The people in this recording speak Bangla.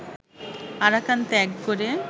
আরাকান ত্যাগ করে